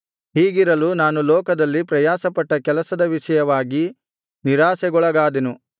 ಹೀಗಿರಲು ನಾನು ಲೋಕದಲ್ಲಿ ಪ್ರಯಾಸಪಟ್ಟ ಕೆಲಸದ ವಿಷಯವಾಗಿ ನಿರಾಶೆಗೊಳಗಾದೆನು